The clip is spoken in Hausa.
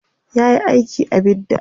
yayi aiki a bidda